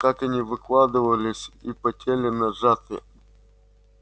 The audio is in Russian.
как они выкладывались и потели на жатве